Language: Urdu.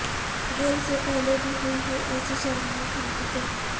گیل سے پہلے بھی ہوئی ہیں ایسی شرمناک حرکتیں